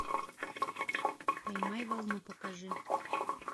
поймай волну покажи